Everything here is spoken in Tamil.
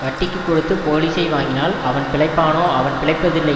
வட்டிக்குக் கொடுத்து போலிசை வாங்கினால் அவன் பிழைப்பானோ அவன் பிழைப்பதில்லை